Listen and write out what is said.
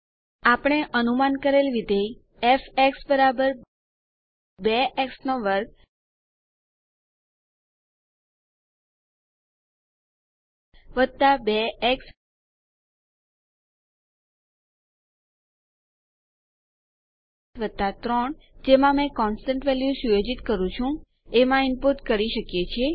આપણે અનુમાન કરેલ વિધેય ફ 2 x2 2 એક્સ 3 જેમાં મેં કોન્સટન્ટ વેલ્યુ સુયોજિત કરું છું એમાં ઈનપુટ કરી શકીએ છીએ